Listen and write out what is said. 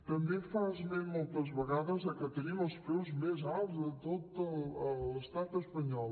també fa esment moltes vegades que tenim els preus més alts de tot l’estat espanyol